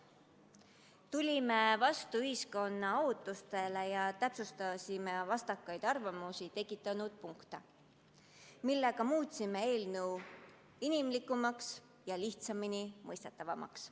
Tulime vastu ühiskonna ootustele ja täpsustasime vastakaid arvamusi tekitanud punkte, muutes sellega eelnõu inimlikumaks ja lihtsamini mõistetavaks.